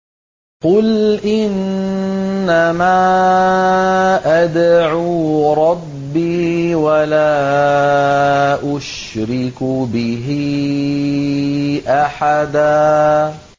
قُلْ إِنَّمَا أَدْعُو رَبِّي وَلَا أُشْرِكُ بِهِ أَحَدًا